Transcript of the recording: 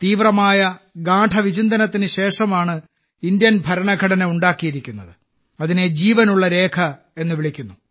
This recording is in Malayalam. തീവ്രമായ ഗാഢവിചിന്തനത്തിന് ശേഷമാണ് ഇന്ത്യൻ ഭരണഘടന ഉണ്ടാക്കിയിരിക്കുന്നത് അതിനെ ജീവനുള്ള രേഖ എന്ന് വിളിക്കുന്നു